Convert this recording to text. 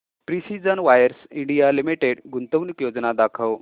precision wires India limited गुंतवणूक योजना दाखव